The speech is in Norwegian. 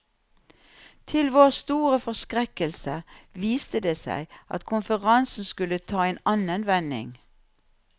Til vår store forskrekkelse viste det seg at konferansen skulle ta en annen vending.